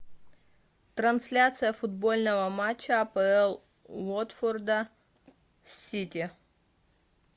трансляция футбольного матча апл уотфорда с сити